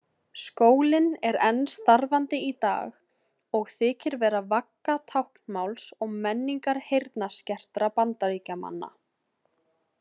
Skólinn er enn starfandi í dag og þykir vera vagga táknmáls og menningar heyrnarskertra Bandaríkjamanna.